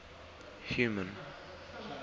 human